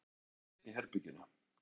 Hann borðaði einn í herberginu.